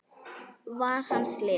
var hans lið.